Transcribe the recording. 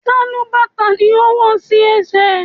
Sálúbàtà ni ó wò sí ẹsẹ̀.